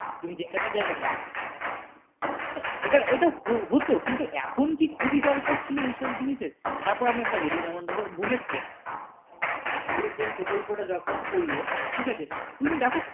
তুমি যেখানে যাবে হ্যাঁ ওইটা হতো হতো কিন্তু এখন কি খুবই দরকার ছিলো? তারপর আমি একটা বলি যেমন দেখো bullet train, bullet train প্রকল্পটা যখন করলো ঠিক আছে তুমিই দেখো